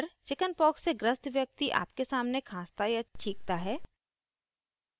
* अगर चिकिन्पॉक्स से ग्रस्त व्यक्ति आपके सामने खाँसता या छींकता है